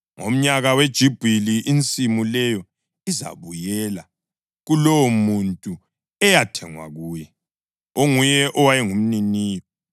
Ngomnyaka weJubhili, insimu leyo izabuyela kulowomuntu eyathengwa kuye, onguye owayengumniniyo.